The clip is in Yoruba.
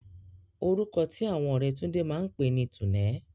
Orúkọ tí àwọn ọ̀rẹ́ Túndé máa pè ní Túnẹ̀.